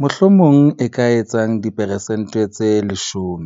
mohlomong e ka etsang diperesente tse 10.